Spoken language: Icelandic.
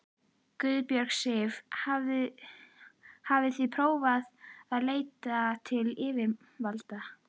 Guðbjörg Sif: Hafið þið prófað að leita til yfirvalda?